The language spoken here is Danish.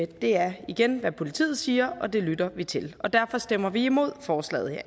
det er igen hvad politiet siger og det lytter vi til og derfor stemmer vi imod forslaget